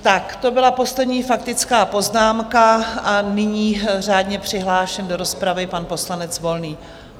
Tak to byla poslední faktická poznámka a nyní řádně přihlášený do rozpravy pan poslanec Volný.